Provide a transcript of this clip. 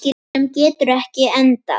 Sem getur ekki endað.